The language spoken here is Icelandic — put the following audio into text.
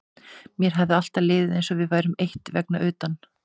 Mér hafði alltaf liðið eins og við værum eitt vegna utan